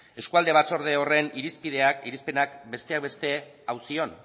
eskualde batzorde horren irizpenak besteak beste hau zioen